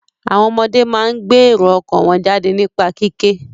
Àwọn ọmọdé máa ń gbé èrò ọkàn wọ́n jáde nípa kíké.